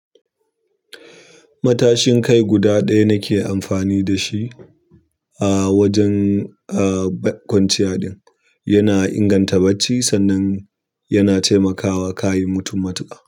Matashin kai guda ɗaya nake amfani da shi a wajen, ah, bak kwanciya ɗin. Yana inganta bacci sannan yana taimakawa ka yi mutum matuƙa.